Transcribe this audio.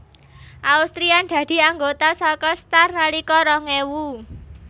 Austrian dadi anggota saka Star nalika rong ewu